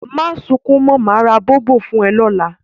Mà sùn kún mọ̀, màá rá Bọ̀bọ̀ fún ẹ lọ́lá